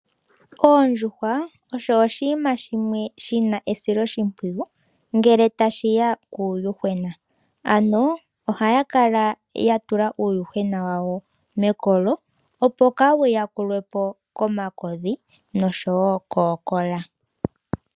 Oondjuhwa osho oshinima shimwe shina esiloshimpwiyu ngele tashi ya puuyuhwena. Ohadhi kala dha tula uuyuhwena wadho mekolo opo kaawu yakulwe po komakodhi noshowo kookola.